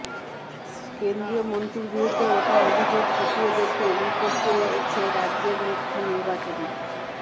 কেন্দ্রীয় মন্ত্রীর বিরুদ্ধে ওঠা অভিযোগ খতিয়ে দেখতে রিপোর্ট চেয়েছে রাজ্যের মুখ্য নির্বাচনী